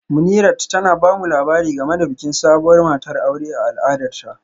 Munirat tana ba mu labari game da bikin sabuwar matar aure a al'adarta